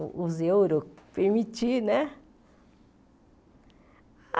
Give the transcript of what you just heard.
O os euros, permitir, né?